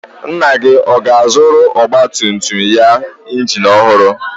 Nna gị ọ ga-azụrụ ọgbatumtum ya injin ọhụrụ?